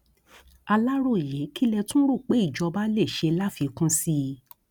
aláròyé kí lẹ tún rò pé ìjọba lè ṣe láfikún sí i